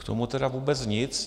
K tomu tedy vůbec nic.